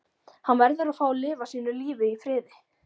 Hann verður að fá að lifa sínu lífi í friði.